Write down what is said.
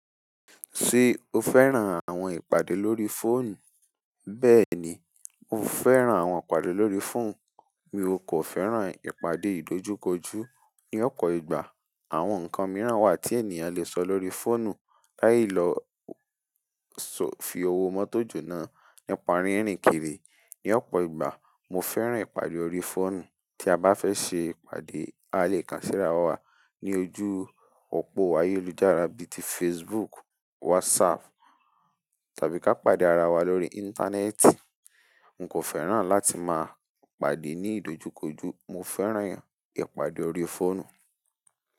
Ṣé o fẹ́ràn àwọn ìpàdé lórí fóònù? Bẹ́ẹ̀ni, mo fẹ́ràn àwọn ìpàdé lórí fóònù. Mi o kò fẹ́ràn ìpàdé ìdójúkojú. Ní ọ̀pọ̀ ìgbà, àwọn nǹkan mìíràn wà tí ènìyàn lè sọ lórí fóònù. Láì lọ sọ fi owó mọ́tò jóná nípa rírìn kiri. Ní ọ̀pọ̀ ìgbà, mo fẹ́ràn ìpàdé lórí fóònù. Tí a bá fẹ́ ṣe ìpàdé, a lè kàn síra wa ní ojú òpó ayélujára bí ti Facebook, WhatsApp tàbí ká pàdé ara wa lórí íńtánẹ́ẹ̀tì. N kò fẹ́ràn láti máa pàdé ní ìdojúkoju, mo fẹ́ràn ìpàdé lórí fóònù.